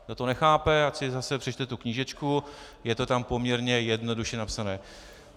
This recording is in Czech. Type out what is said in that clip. Kdo to nechápe, ať si zase přečte tu knížečku, je to tam poměrně jednoduše napsané.